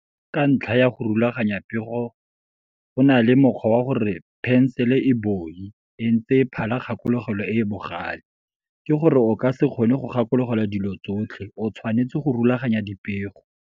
Ka ntlha ya go rulaganya pego go na le mokgwa wa go re 'Phensele e boi e ntse phala kgakologelo e e bogale', ke go re o ka se kgone go gakologelwa dilo tsotlhe, o tshwanetse go rulaganya dipego.